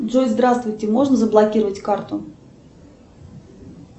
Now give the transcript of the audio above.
джой здравствуйте можно заблокировать карту